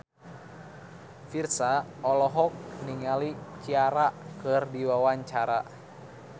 Virzha olohok ningali Ciara keur diwawancara